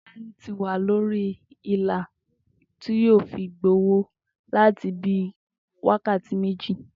Tó̩lání ti wà lórí ilà tí yóò fi gbowó láti bí i wákàtí méjì